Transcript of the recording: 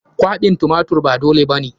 Kwaɓin tumatirin ba dole ba ne.